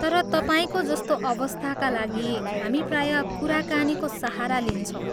तर तपाईँको जस्तो अवस्थाका लागि, हामी प्राय कुराकानीको सहारा लिन्छौँ।